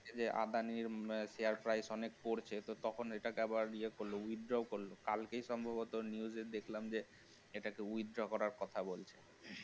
যে আদানির share price অনেক পড়েছে তখন এটাকে আবার ইয়ে করল withdraw করল, কালকে সম্ভবত news এ দেখলাম যে এটাকে withdraw করার কথা বলছে